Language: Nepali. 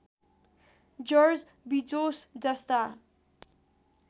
जर्ज बिजोस जस्ता